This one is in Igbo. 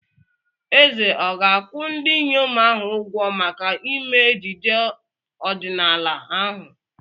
Eze ọ̀ ga-akwụ ndị inyom ahụ ụgwọ maka ime ejije ọdịnaala ahụ?